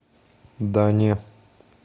да не